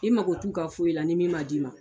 I mago t'u ka foyi la ni min ma d'i ma.